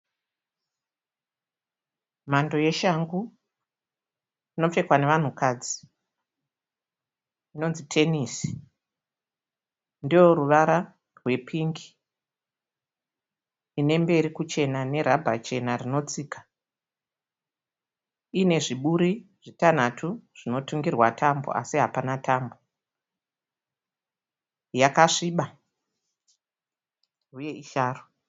Mhando yeshangu inopfekwa nevanhukadzi inonzi tenesi. Ndeyeruvara rwepingi ine mberi kuchena nerabha chena rinotsika. Iine zviburi zvitanhatu zvinotungirwa tambo asi hapana tambo. Yakasviba huye isharu.